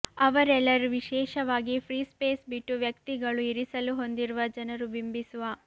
ಅವರೆಲ್ಲರೂ ವಿಶೇಷವಾಗಿ free space ಬಿಟ್ಟು ವ್ಯಕ್ತಿಗಳು ಇರಿಸಲು ಹೊಂದಿರುವ ಜನರು ಬಿಂಬಿಸುವ